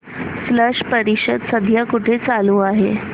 स्लश परिषद सध्या कुठे चालू आहे